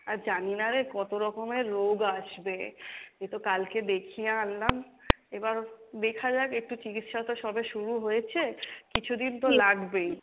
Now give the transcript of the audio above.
আর জানিনা রে কত রকমের রোগ আসবে। এইতো কালকে দেখিয়ে আনলাম এবার দেখা যাক একটু চিকিৎসা তো সবে শুরু হয়েছে, কিছুদিন তো লাগবেই,